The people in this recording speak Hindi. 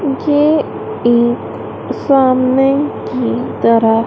ये एक सामने की तरह--